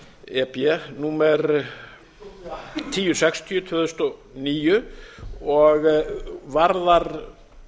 e b númer eitt þúsund sextíu tvö þúsund og níu og varðar